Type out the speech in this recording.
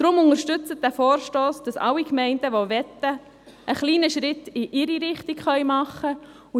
Deshalb unterstützen Sie diesen Vorstoss, damit alle Gemeinden, welche wollen, einen kleinen Schritt in ihre Richtung machen können.